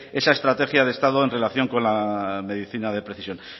esa estrategia de estado en relación con la medicina de precisión